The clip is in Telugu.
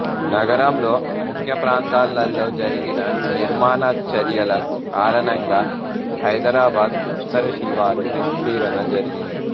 నగరంలో ముఖ్య ప్రాంతాలలో జరిగిన నిర్మాణ చర్యల కారణంగా హైదరాబాద్ ఉత్తర శివారు విస్తరణ జరిగింది